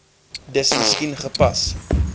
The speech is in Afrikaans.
dis miskien gepas